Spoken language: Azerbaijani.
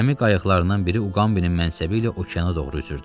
Gəmi qayıqlarından biri Uqambinin mənsəbi ilə okeana doğru üzürdü.